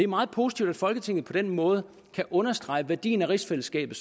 meget positivt at folketinget på den måde kan understrege værdien af rigsfællesskabet